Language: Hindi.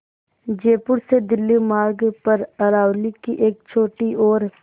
जयपुर से दिल्ली मार्ग पर अरावली की एक छोटी और